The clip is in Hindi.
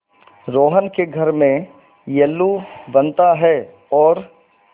रोहन के घर में येल्लू बनता है और